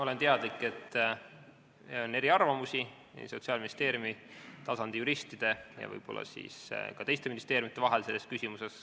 Olen teadlik, et selles küsimuses on eriarvamusi Sotsiaalministeeriumi juristide ja teiste ministeeriumide vahel.